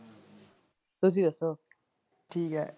ਤੁਸੀ ਦਸੋ ਠੀਕ ਹੈ।